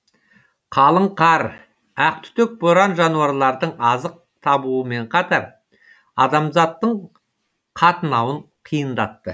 қалың қар ақтүтек боран жануарлардың азық табуымен қатар адамзаттың қатынауын қиындатты